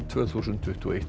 tvö þúsund tuttugu og eitt